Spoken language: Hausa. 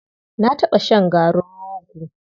Na taɓa shan garin rogo.